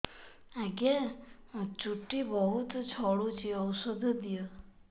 ଆଜ୍ଞା ଚୁଟି ବହୁତ୍ ଝଡୁଚି ଔଷଧ ଦିଅ